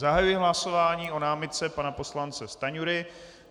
Zahajuji hlasování o námitce pana poslance Stanjury.